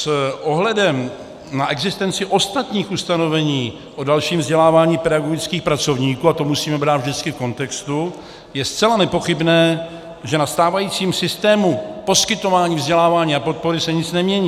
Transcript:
S ohledem na existenci ostatních ustanovení o dalším vzdělávání pedagogických pracovníků, a to musíme brát vždycky v kontextu, je zcela nepochybné, že na stávajícím systému poskytování vzdělávání a podpory se nic nemění.